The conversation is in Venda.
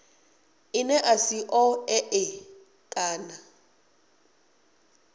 ḽine ḽa si ṱoḓee kana